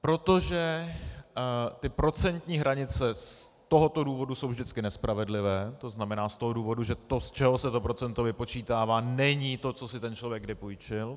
Protože ty procentní hranice z tohoto důvodu jsou vždycky nespravedlivé, to znamená, z toho důvodu, že to, z čeho se to procento vypočítává, není to, co si ten člověk kdy půjčil.